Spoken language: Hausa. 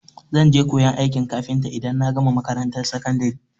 Zan je koyan aikin kafinta idan na gama makarantar sakandari.